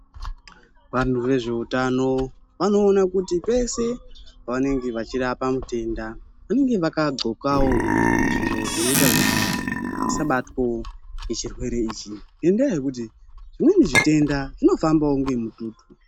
Vangu vezvehutano vanoona kuti zvese vanenge vachirapa mitenda vachirapa mitenda vanenge vakagonkawo zviro zvinoita kuti vasabatwa nezvirwere izvi ngenda yekuti zvimweni zvitenda zvinofambawo nemututu.